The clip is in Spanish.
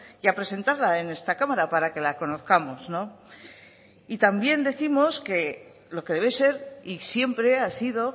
y a presentarla en esta cámara para que la conozcamos también décimos que lo que debe ser y siempre ha sido